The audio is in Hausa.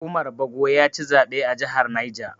Umar Bago yaci zaɓe a jihar Niger.